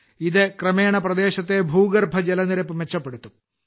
ഇത് ക്രമേണ പ്രദേശത്തെ ഭൂഗർഭജലനിരപ്പ് മെച്ചപ്പെടുത്തും